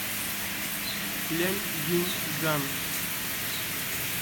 ляньюньган